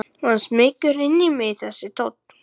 Og hann smýgur inn í mig þessi tónn.